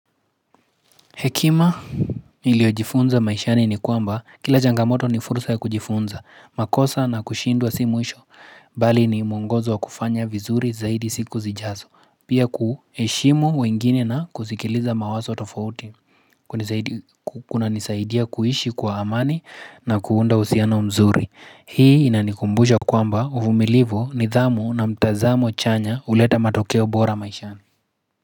Hekima niliojifunza maishani ni kwamba, kila changamoto ni fursa ya kujifunza, makosa na kushindwa si mwisho, bali ni muongozo wa kufanya vizuri zaidi siku zijazo, pia kuheshimu wengine na kusikiliza mawazo tofauti, kuna nisaidia kuishi kwa amani na kuunda uhusiano mzuri. Hii inanikumbusha kwamba uvumilivu, nidhamu na mtazamo chanya huleta matokeo bora maishani.